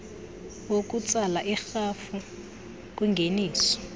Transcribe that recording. wokutsala irhafu kwingeniso